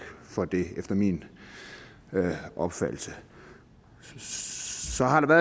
for det efter min opfattelse så har der